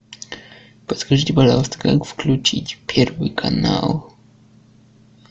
подскажите пожалуйста как включить первый канал